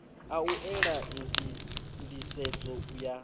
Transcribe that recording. a u ela nḓisedzo ya